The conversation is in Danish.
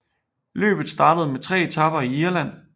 Løbet startede med tre etaper i Irland